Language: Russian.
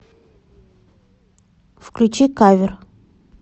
включи кавер